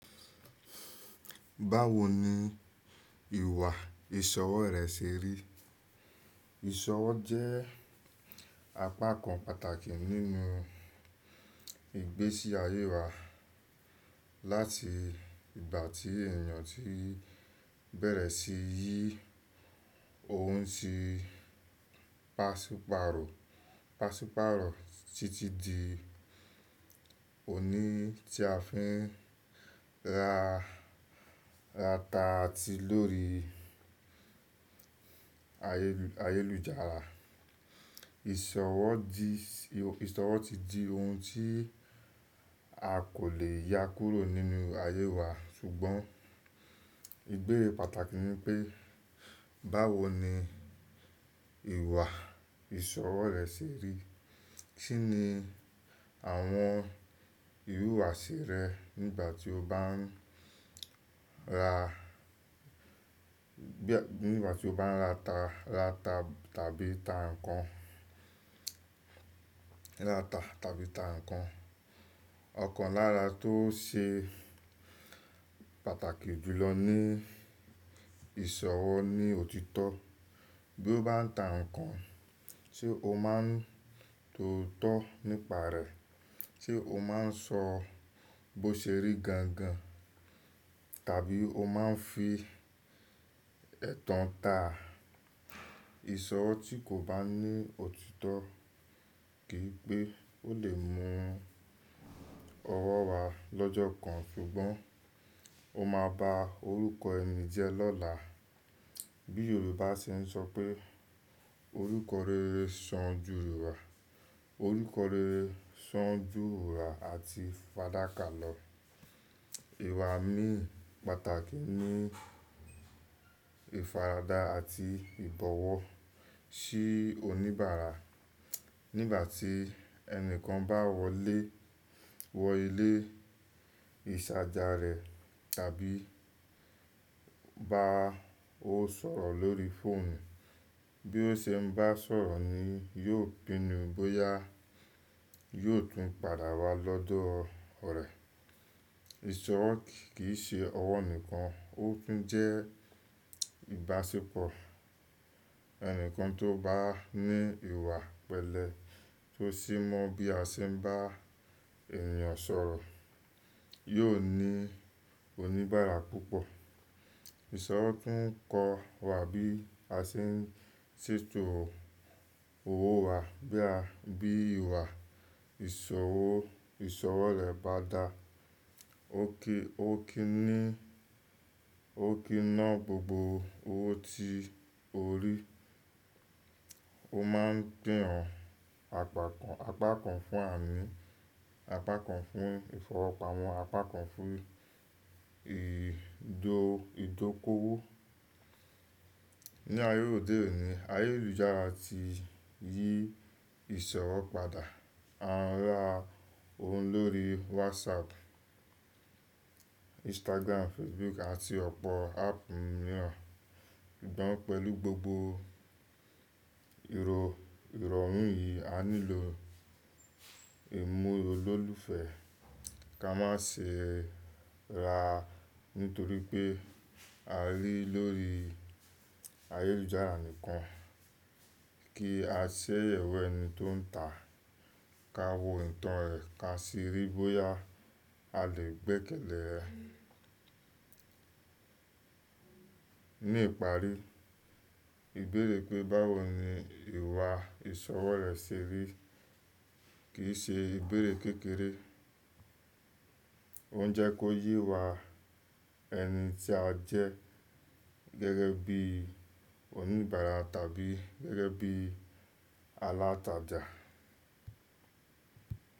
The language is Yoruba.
Báwo ni ìwà ìsọwọ́ rẹ ṣe rí? Ìse ọwọ́ jẹ́ apakan pàtàkì nínú ìgbésí ayé wa. Láti ìgbà tí ènìyàn ti bẹ̀rẹ̀ sí yí oun tí pásípàrò, pásípàrò titi di òní tí a fi ń ra ata ti lórí ayélujára. Ìsọwọ́ ti di oun tí a kò le ya kúrò nínú ayé wa ṣùgbọ́n ìbéèrè pàtàkì ni pé báwo ni ìwà ìsọwọ́ rẹ ṣe rí? Kí ni àwọn ìhùwàsí rẹ nígbà tí o bá ń ra nígbà tí o bá ń ra ata tabi ta nkán, ra ata tabi ta nkán. Ọkàn lára tó ṣe pàtàkì jùlọ ni ìsọwọ́ ni òtítọ́. Bí o bá ń ta nkán, ṣe o máa ń tóótọ́ nípa rẹ̀, ṣe o máa ń sọ bó ṣe rí gangan tabi o máa ń fi ẹ́tan ta? Ìsọwọ́ tí kò bá ní òtítọ́ kì í pé ó lè mú ọwọ́ wa lọ́jọ́ kan ṣùgbọ́n ó máa ba orúkọ ẹni jẹ́ lọ́la. Bí Yorùbá ṣe ń sọ pé orúkọ rere san ju èwùrà, orúkọ rere san ju èwùrà àti fadakà lọ. Ìwà mí pàtàkì ni ìfaradà àti ìbọ̀wọ̀ sí oníbàárà. Nígbà tí ẹni kan bá wọlé wọ ilé ìsàjà rẹ tàbí bá ó sọ̀rọ̀ lórí fóònù, bí ó ṣe ń bá sọ̀rọ̀ ni yóò pinnu bóyá yóò tún padà wá lọ́dọ̀ rẹ. Ìsọwọ́ kì í ṣe ọwọ́ nìkan, ó tún jẹ́ ìbáṣepọ̀. Ẹni kan tó bá ní ìwà pẹ̀lẹ́ tó sì mọ bí a ṣe ń bá ènìyàn sọ̀rọ̀ yóò ní oníbàárà púpọ̀. Ìsọwọ́ tún kọ́ wa bí a ṣe ń tètò owó wa. Bí ìwà ìsọwọ ìsọwọ́ rẹ bá dá, ó kí ni, ó kí ná gbogbo owó tí o rí. O máa ń pín ọ̀pọ̀ apakan fún àmì, apakan fún ìfowópamọ́, apakan fún ìdókòwó. Ni ayé òde òní, ayélujára ti yí ìsọwọ́ padà. A ń ra oun lórí WhatsApp, Instagram, Facebook àti ọ̀pọ̀ áàpù mìíràn. Ìdánwò pẹ̀lú gbogbo ìrọ̀hùn yìí, a nílò ìmúlò lólufe, ká má ṣe rà nítorí pé a rí lóri ayélujára nìkan. Kí a ṣe yẹ̀wọ̀ ẹni tó ń ta, ká wo ìtàn rẹ̀, ká sì rí bóyá a lè gbẹ́kẹ̀lé ẹ. Ní ìparí, ìbéèrè pé báwo ni ìwà ìsọwọ́ rẹ ṣe rí kì í ṣe ìbéèrè kékeré. Ó ń jẹ́ kó yí wa ẹni tí a jẹ́ gẹ́gẹ́ bí oníbàárà tàbí gẹ́gẹ́ bí alátajà.